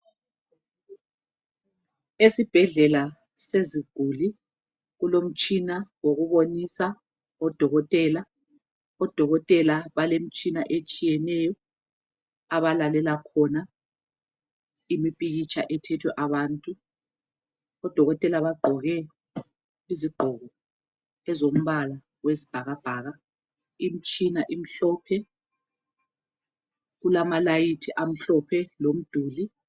Esibhedlela seziguli, kulomitshina wokubonisa odokotela. Odokothela balemtshina etshiyeneyo abalalela khona imipikhitsha ethethe abantu. Odokothela bagqoke izigqoko ezombala wesibhakabhaka. Imtshina imhlophe , kulamalayithi amhlophe lumduli.